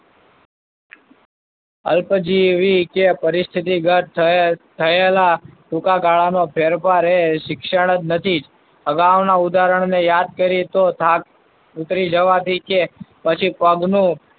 અલ્પજીવી કે પરિસ્થિતિ ગત થ~થયેલા ટૂંકા ગાળાનો ફેરફાર એ શિક્ષણ જ નથી. અગાઉના ઉદાહરણને યાદ કરીએ તો, થાક ઉતરી જવાથી કે પછી પગનું,